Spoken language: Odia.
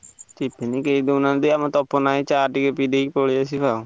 Tiffin କେହି ଦଉ ନାହାନ୍ତି ଆମ ତପନ ଭାଇ ଚା ଟିକେ ପିଦେଇ ପଳେଈ ଆସିଆ ଆଉ।